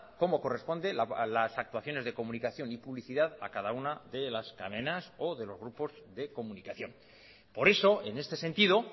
como corresponde las actuaciones de comunicación y publicidad a cada una de las cadenas o de los grupos de comunicación por eso en este sentido